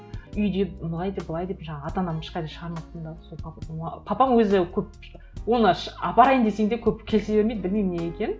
үйде былай деп былай деп жаңағы ата анамды ешқайда шығармаппын да сол какой то папам өзі көп оны апарайын десең де көп келісе бермейді білмеймін неге екенін